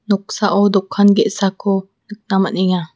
noksao dokan ge·sako nikna man·enga.